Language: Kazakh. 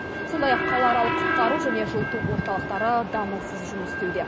сондай ақ қалааралық құтқару және жылыту орталықтары дамылсыз жұмыс істеуде